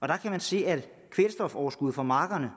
der kan man se at kvælstofoverskuddet fra markerne